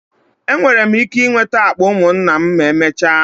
Enwere m ike nweta akpa ụmụnna m ma emechaa?